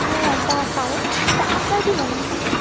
একটা কারণ তো আপনার কি মনে হয়?